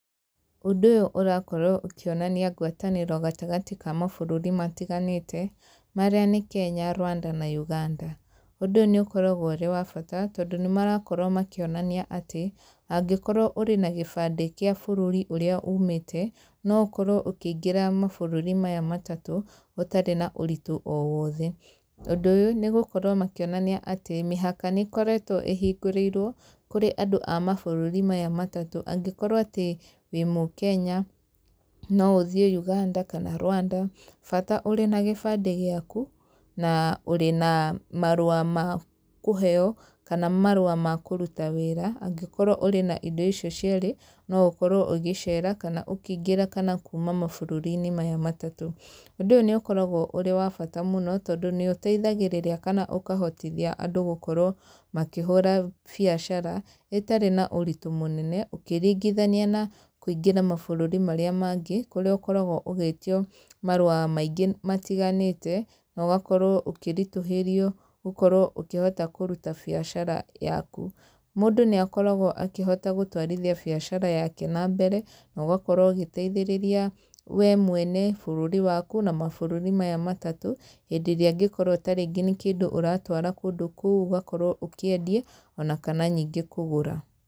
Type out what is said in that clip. Ũndũ ũyũ ũrakorwo ũkĩonania ngwatanĩro gatagatĩ ka mabũrũri matiganĩte, marĩa nĩ Kenya, Rwanda na Uganda. Ũndũ ũyũ nĩ ũkoragwo ũrĩ wa bata, tondũ nĩ marakorwo makĩonania atĩ, angĩkorwo ũrĩ na gĩbandĩ gĩa bũrũri ũrĩa umĩte, no ũkorwo ũkĩingĩra mabũrũri maya matatũ, ũtarĩ na ũritũ o wothe, ũndũ ũyũ nĩ gũkorwo makĩonania atĩ mĩhaka nĩ ĩkoretwo ĩhingũrĩirwo kũrĩ andũ a mabũrũri maya matatũ angĩkorwo atĩ wĩ mũkenya, no ũthiĩ Uganda kana Rwanda, bata ũrĩ na gĩbandĩ gĩaku, na ũrĩ na marũa makũheo kana marũa makũruta wĩra, ũngĩkorwo ũrĩ na indo icio cierĩ, no ũkorwo ũgĩcera, kana ũkĩingĩra kana kuuma mabũrũri-inĩ maya matatũ. Ũndũ ũyũ nĩ ũkoragwo ũrĩ wa bata mũno, tondũ nĩ ũteithagĩrĩria kana ũkahotithia andũ gũkorwo makĩhũra biacara ĩtarĩ na ũritũ mũnene, ũkĩringithania na kũingĩra mabũrũri marĩa mangĩ, kũrĩa ũkoragwo ũgĩtio marũa maingĩ matiganĩte, nogakorwo ũkĩritũhĩrio gũkorwo ũkĩhota kũruta biacara yaku. Mũndũ nĩ akoragwo akĩhota gũtwarithia biacara yake nambere, no gakorwo ũgĩteithĩrĩria we mwene, bũrũri waku na mabũrũri maya matatũ, hĩndĩ ĩrĩa angĩkorwo ta rĩngĩ nĩ kĩndũ ũratwara kũndũ kũu ũgakorwo ũkĩendie, ona kana nĩngĩ kũgũra.